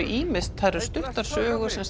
ýmist það eru stuttar sögur sem